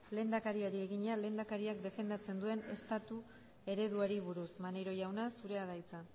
lehendakariari egina lehendakariak defenditzen duen estatu ereduari buruz maneiro jauna zurea da hitza